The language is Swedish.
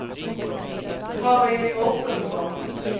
Harry Mårtensson